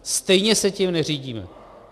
Stejně se tím neřídíme.